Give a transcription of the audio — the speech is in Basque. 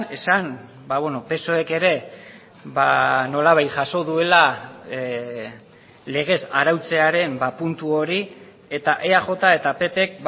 esan psoek ere nolabait jaso duela legez arautzearen puntu hori eta eaj eta ppk